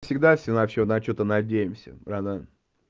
всегда все на что-то на что то надеемся братан